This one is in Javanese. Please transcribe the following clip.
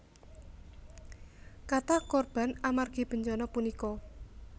Kathah korban amargi bencana punika